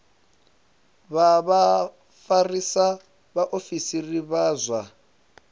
vha vhafarisa vhaofisiri vha zwa